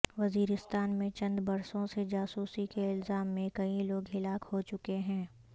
وزیرستان میں چند برسوں سے جاسوسی کے الزام میں کئی لوگ ہلاک ہو چکے ہیں